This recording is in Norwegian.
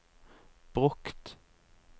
brukt